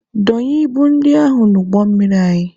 Dọnye ibu ndị ahụ n'ụgbọ mmiri anyị!